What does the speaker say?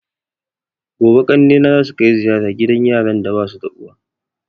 Gobe ƙanne na zasu kai ziyara gidan yaran da basu da uwa